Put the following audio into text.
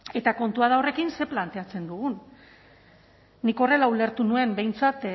eta kontua da horrekin zer planteatzen dugun nik horrela ulertu nuen behintzat